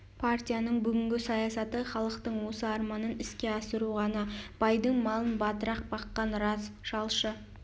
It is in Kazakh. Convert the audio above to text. партияның бүгінгі саясаты халықтың осы арманын іске асыру ғана байдың малын батырақ баққан рас жалшы